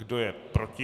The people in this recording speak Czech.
Kdo je proti?